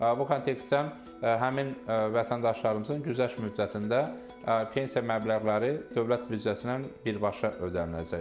Bu kontekstdə həmin vətəndaşlarımızın güzəşt müddətində pensiya məbləğləri dövlət büdcəsindən birbaşa ödəniləcək.